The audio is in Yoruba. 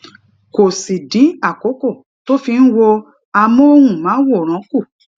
kó sì dín àkókò tó fi ń wo amóhùnmáwòrán kù